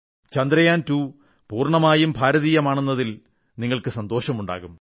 ചന്ദ്രയാൻ 2 പൂർണ്ണമായും ഭാരതീയമാണെന്നതിൽ നിങ്ങൾക്ക് സന്തോഷമുണ്ടാകും